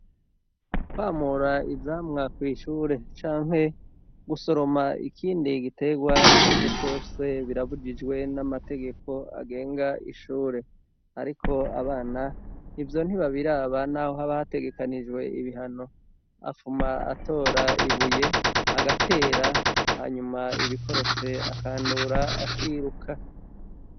Kwamura ivyamwa kw'ishure canke gusoroma ikindi gitegwa ico ari co cose birabujijwe n'amategeko agenga ishure, ariko abana ivyo ntibabiraba, naho haba hategekanijwe ibihano afuma atora ibuye agatera hanyuma ibikorotse akandura akiruka.